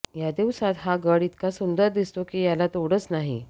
या दिवसांत हा गड इतका सुंदर दिसतो की याला तोडच नाही